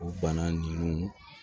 O bana ninnu